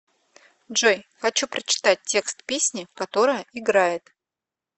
джой хочу прочитать текст песни которая играет